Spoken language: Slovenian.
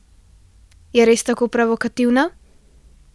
Je res tako provokativna?